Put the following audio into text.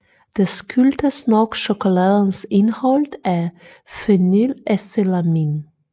Det skyldtes nok chokoladens indhold af phenylethylamin